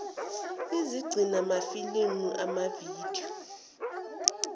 ezigcina amafilimu amavidiyo